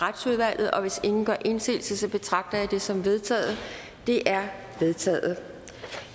retsudvalget og hvis ingen gør indsigelse betragter jeg det som vedtaget det er vedtaget